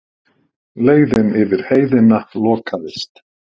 Leiðin yfir Heiðina lokaðist.